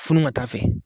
Funu ka taa fɛ